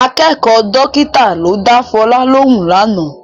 Akẹ́kọ̀ọ́ dọ́kítà ló dá Fọlá lóhùn lánàá